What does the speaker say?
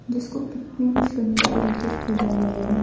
जिस को कितने ही सुन्दर तरीके से सजाया गया है।